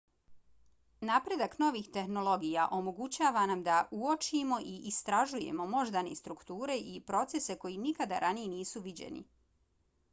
napredak novih tehnologija omogućava nam da uočimo i istražujemo moždane strukture i procese koji nikada ranije nisu viđeni